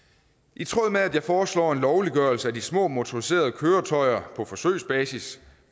i tråd med at jeg foreslår en lovliggørelse af de små motoriserede køretøjer på forsøgsbasis